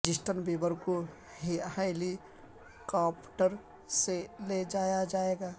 Justin Bieber کو ہیلی کاپٹرسے لے جایا جائے گا